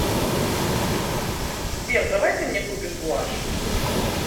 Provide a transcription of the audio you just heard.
сбер давай ты мне купишь гуашь